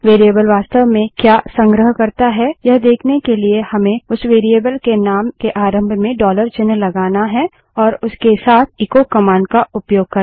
variable वास्तव में क्या संग्रह करता है यह देखने के लिए हमें उस वेरिएबल के नाम के आरंभ में डॉलर चिन्ह लगाना है और उसके साथ एचो कमांड का उपयोग करना होगा